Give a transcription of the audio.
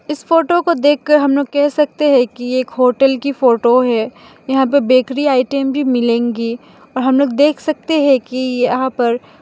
इस फोटो को देखकर हमलोग कह सकते है कि ये एक होटल की फोटो है। यहां पे बेकरी आइटम भी मिलेंगे और हमलोग देख सकते हैं कि यहां पर --